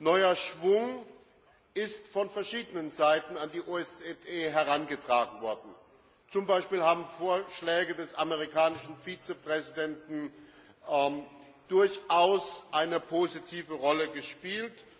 Neuer Schwung ist von verschiedenen Seiten an die OSZE herangetragen worden. Zum Beispiel haben Vorschläge des amerikanischen Vizepräsidenten durchaus eine positive Rolle gespielt.